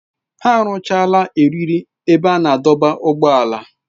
Ha rụchara eriri ebe a na-adọba ụgbọala.